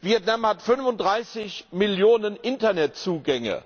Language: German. Vietnam hat 35 Millionen Internetzugänge,